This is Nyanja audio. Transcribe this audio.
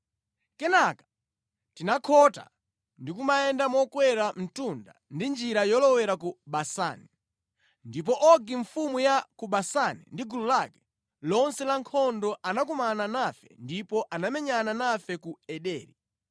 Kenaka tinakhota ndi kumayenda mokwera mtunda ndi njira yolowera ku Basani. Ndipo Ogi mfumu ya ku Basani ndi gulu lake lonse lankhondo anakumana nafe ndipo anamenyana nafe ku Ederi.